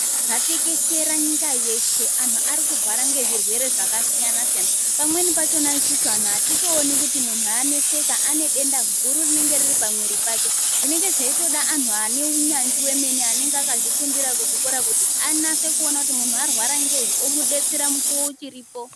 Zvatekeshera nyika yeshe anhu ari kurwara ngezvirwere zvakasiyana siyana, pamweni pachona isusu anhu atitooni kuti munhu aneseka, ane denda guru rinenge riri pamwiri pake. Zvinenge zveitoda anhu ane unyanzvi wemene anenge akatozvifundira kuchikora kuti anase kuona kuti munhu arwara ngei onasa kumubetsera mukuwo uchiripo.